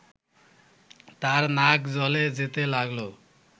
তার নাক জ্বলে যেতে লাগল